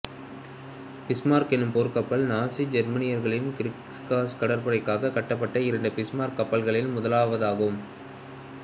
Bismarck எனும் போர் கப்பல் நாஸி ஜெர்மானியர்களின் கிரிக்ஸ் கடற்படைக்காக கட்டப்பட்ட இரண்டு பிஸ்மார்க கப்பல்களில் முதலாவதாகும்